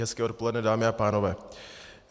Hezké odpoledne dámy a pánové.